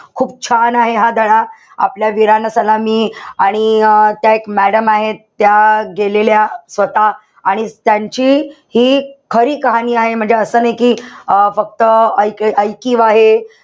खूप छान आहे हा धडा. आपल्या वीरांना सलामी आणि अं त्या एक madam आहेत, त्या गेलेल्या स्वतः आणि त्यांची हि खरी कहाणी आहे. म्हणजे असं नाई कि, अं फक्त, एक इकिव आहे.